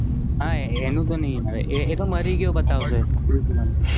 હા એનું તો નહિ હોય એતો મારી ગ્યો બતાવસે Chris Evans